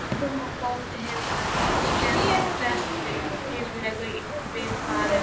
Ormur bóndi hefði ekki skenkt presti ríflega í bikarinn.